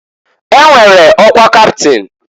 E nwere ọkwa kaptịn.